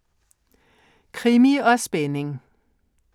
Krimi & Spænding